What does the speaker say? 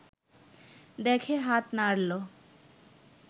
দেখে হাত নাড়ল